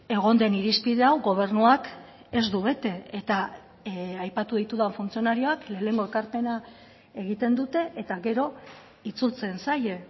egon den irizpide hau gobernuak ez du bete eta aipatu ditudan funtzionarioak lehenengo ekarpena egiten dute eta gero itzultzen zaie